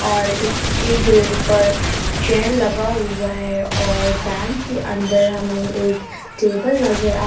और इसके ग्रिल पर चैन लगा हुआ है और बैंक के अंदर हमें एक टेबल नजर आ--